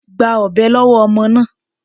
Gba ọ̀bẹ lọ́wọ́ ọmọ náà.